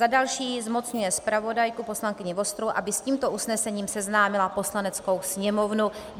Za další zmocňuje zpravodajku poslankyni Vostrou, aby s tímto usnesením seznámila Poslaneckou sněmovnu.